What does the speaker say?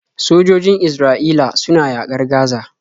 Sojojin Isra'ila suna yaƙar Gaza.